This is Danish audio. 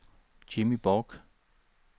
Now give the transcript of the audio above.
Jimmi Bork